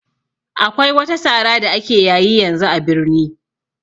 Akwai wata sara da ake yayi yanzu a birni